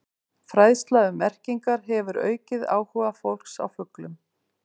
Fræðsla um merkingar hefur aukið áhuga fólks á fuglum.